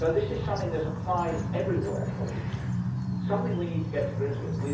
This is something that applies everywhere, colleagues, and something we need to get to grips with.